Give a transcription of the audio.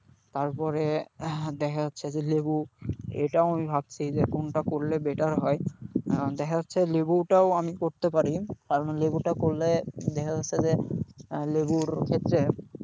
তারপরে হ্যাঁ দেখা যাচ্ছে যে লেবু এটাও আমি ভাবছি যে কোনটা করলে better হয়, কারণ দেখা যাচ্ছে লেবুটাও আমি করতে পারি কারণ লেবুটা করলে দেখা যাচ্ছে যে লেবুর ক্ষেত্রে,